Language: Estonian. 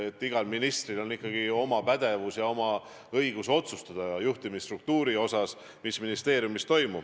Igal ministril on ikkagi oma pädevus, oma õigus otsustada, mis ministeeriumis toimub, ka juhtimisstruktuuri osas.